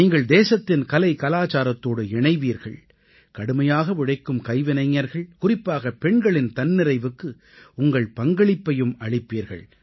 நீங்கள் தேசத்தின் கலைகலாச்சாரத்தோடு இணைவீர்கள் கடுமையாக உழைக்கும் கைவினைஞர்கள் குறிப்பாக பெண்களின் தன்னிறைவுக்கு உங்கள் பங்களிப்பையும் அளிப்பீர்கள்